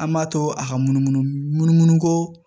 An b'a to a ka munumunu munumunu ko